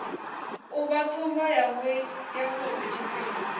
u vha tsumbo yavhui tshifhinga